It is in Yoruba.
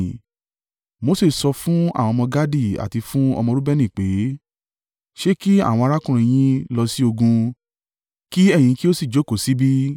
Mose sọ fún àwọn ọmọ Gadi àti fún ọmọ Reubeni pé, “Ṣé kí àwọn arákùnrin yín lọ sí ogun, kí ẹ̀yin kí ó sì jókòó sí bí?